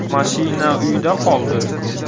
Mashina uyda qoldi.